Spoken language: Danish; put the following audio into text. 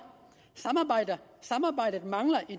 samarbejdet mangler i